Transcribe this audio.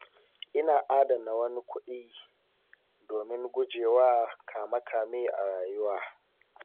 Ina adana wani kuɗi domin guje wa kame-kame a rayuwa.